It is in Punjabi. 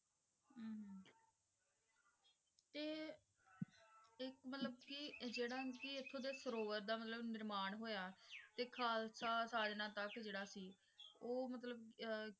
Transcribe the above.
ਕੇ ਜੇਰਾ ਕੇ ਏਥੋਂ ਦੇ ਦਾ ਮਤਲਬ ਨਿਰਮਾਣ ਹੋਯਾ ਤੇ ਖਾਲਸਾ ਸਾਜਨਾ ਤਕ ਜੇਰਾ ਸੀ ਊ ਮਤਲਬ